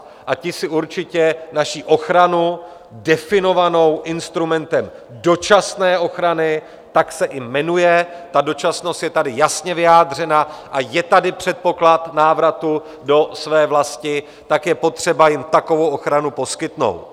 A ti si určitě naši ochranu definovanou instrumentem dočasné ochrany, tak se i jmenuje, ta dočasnost je tady jasně vyjádřena a je tady předpoklad návratu do své vlasti, tak je potřeba jim takovou ochranu poskytnout.